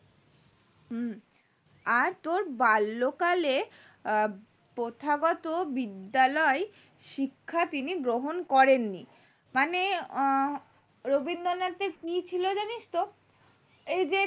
হু আর তোর বাল্য কালে আহ প্রথাগত বিদ্যালয় শিক্ষা তিনি গ্রহণ করেননি মানে আহ রবীন্দ্রনাথের কি ছিল জানিস তো এই যে